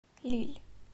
лилль